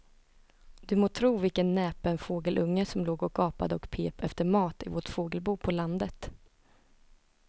Du må tro vilken näpen fågelunge som låg och gapade och pep efter mat i vårt fågelbo på landet.